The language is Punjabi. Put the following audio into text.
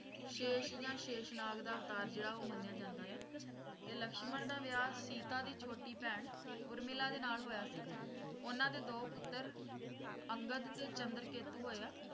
ਸ਼ੇਸ਼ ਯਾ ਸ਼ੇਸ਼ਨਾਗ ਦਾ ਅਵਤਾਰ ਜਿਹੜਾ ਉਹ ਮੰਨਿਆ ਜਾਂਦਾ ਹੈ ਤੇ ਲਕਸ਼ਮਣ ਦਾ ਵਿਆਹ ਸੀਤਾ ਦੀ ਛੋਟੀ ਭੈਣ ਉਰਮਿਲਾ ਦੇ ਨਾਲ ਹੋਇਆ ਸੀ ਉਨ੍ਹਾਂ ਦੇ ਦੋ ਪੁੱਤਰ ਅੰਗਦ ਤੇ ਚੰਦਰਕੇਤੁ ਹੋਏ ਹੈ